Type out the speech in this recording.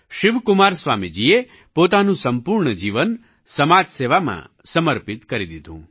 શિવકુમાર સ્વામીજીએ પોતાનું સંપૂર્ણ જીવન સમાજસેવામાં સમર્પિત કરી દીધું